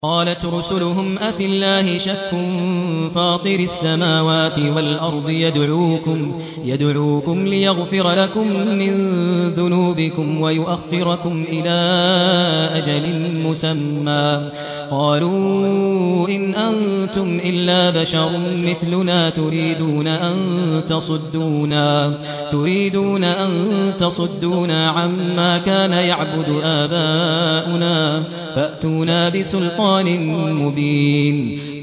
۞ قَالَتْ رُسُلُهُمْ أَفِي اللَّهِ شَكٌّ فَاطِرِ السَّمَاوَاتِ وَالْأَرْضِ ۖ يَدْعُوكُمْ لِيَغْفِرَ لَكُم مِّن ذُنُوبِكُمْ وَيُؤَخِّرَكُمْ إِلَىٰ أَجَلٍ مُّسَمًّى ۚ قَالُوا إِنْ أَنتُمْ إِلَّا بَشَرٌ مِّثْلُنَا تُرِيدُونَ أَن تَصُدُّونَا عَمَّا كَانَ يَعْبُدُ آبَاؤُنَا فَأْتُونَا بِسُلْطَانٍ مُّبِينٍ